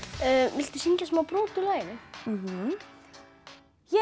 viltu syngja smá brot úr laginu ég